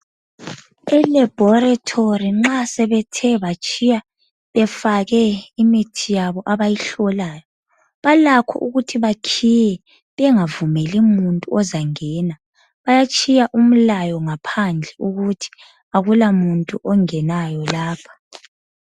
ELaboratory nxa sebethe batshiya befake imithi yabo abayihlolayo. Balakho ukuthi bakhiye, bengavumeli muntu ozangena. Bayatshiya umlayo ngaphandle ukuthi akula muntu ongenayo lapho.